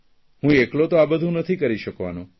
હું એકલો તો બધું નથી કરી શકવાનો